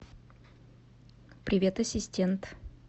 привет ассистент